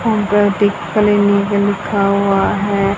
लिखा हुआ है।